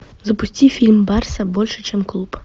запусти фильм барса больше чем клуб